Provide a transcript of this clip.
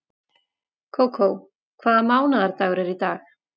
Kókó, hvaða mánaðardagur er í dag?